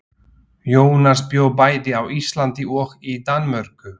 Jónas bjó bæði á Íslandi og í Danmörku.